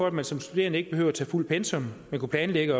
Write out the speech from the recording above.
at man som studerende ikke behøvede at tage fuldt pensum man kunne planlægge